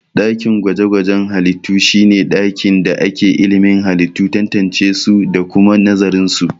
Dakin gwaje-gwajen halittu shi ne ɗakin da ake ilimin halittu, tantancesu da kuma nazarinsu.